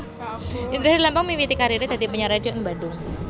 Indra Herlambang miwiti kariré dadi penyiar radio ing Bandung